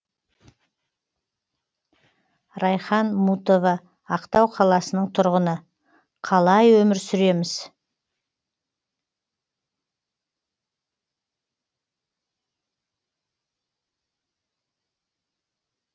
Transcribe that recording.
райхан мутова ақтау қаласының тұрғыны қалай өмір сүреміз